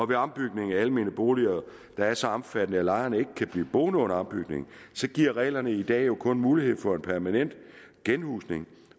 ved ombygning af almene boliger der er så omfattende at lejerne ikke kan blive boende under ombygningen så giver reglerne i dag jo kun mulighed for en permanent genhusning